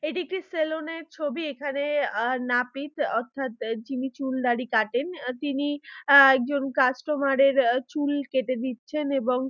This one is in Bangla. এটি একটি সেলুন ছবি। এখানে আর নাপিত অর্থাৎ যিনি চুল দাড়ি আ কাটেন তিনি আ একজন কাস্টমার -এর চুল কেটে দিচ্ছেন এবং--